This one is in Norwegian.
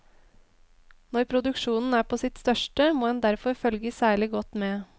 Når produksjonen er på sitt største, må en derfor følge særlig godt med.